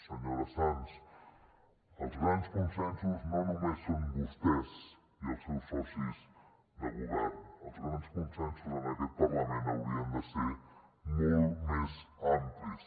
senyora sans els grans consensos no només són vostès i els seus socis de govern els grans consensos en aquest parlament haurien de ser molt més amplis